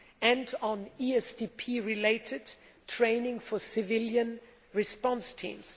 and on ESDP related training for civilian response teams.